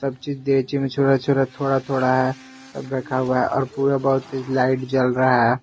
में छोरा छोरा थोड़ा थोड़ा है सब रखा हुआ है और पूरा बहुत लाइट जल रहा है।